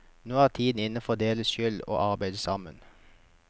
Nå er tiden inne for å dele skyld og å arbeide sammen.